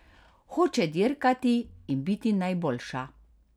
Hoče dirkati in biti najboljša.